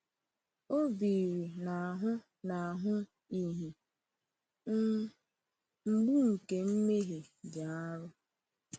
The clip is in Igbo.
O biri n’ahụ n’ahụ ihe um mgbu nke mmehie dị arọ.